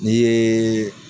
Ni ye